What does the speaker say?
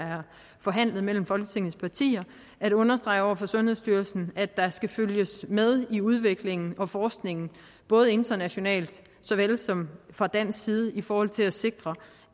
forhandlet mellem folketingets partier understreget over for sundhedsstyrelsen at der skal følges med i udviklingen og forskningen både internationalt og fra dansk side i forhold til at sikre